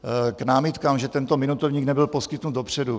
K námitkám, že tento minutovník nebyl poskytnut dopředu.